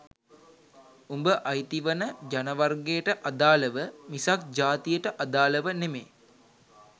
උඹ අයිති වන ජනවර්ගයට අදාලව මිසක් ජාතියට අදාලව නෙමෙ